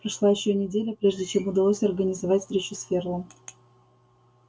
прошла ещё неделя прежде чем удалось организовать встречу с ферлом